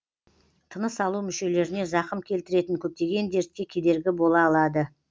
тыныс алу мүшелеріне зақым келтіретін көптеген дертке кедергі бола алады